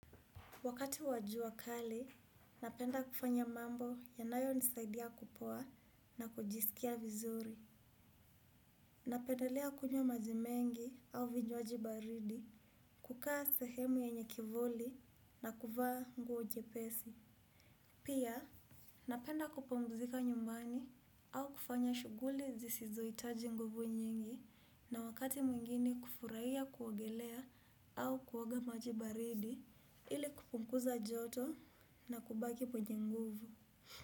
Wakati wa jua kali, napenda kufanya mambo yanayonisaidia kupoa na kujiskia vizuri. Napendelea kunywa maji mengi au vinywaji baridi, kukaa sehemu yenye kivuli na kuvaa nguo jepesi. Pia, napenda kupumuzika nyumbani au kufanya shuguli zisizoitaji nguvu nyingi na wakati mwingine kufuraia kuogelea au kuoga maji baridi ili kupunguza joto na kubaki mwenye nguvu.